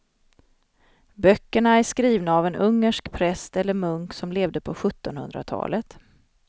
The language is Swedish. Böckerna är skrivna av en ungersk präst eller munk som levde på sjuttonhundratalet.